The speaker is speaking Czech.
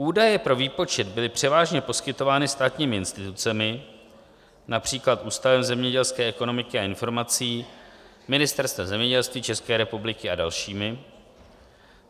Údaje pro výpočet byly převážně poskytovány státními institucemi, například Ústavem zemědělské ekonomiky a informací, Ministerstvem zemědělství České republiky a dalšími.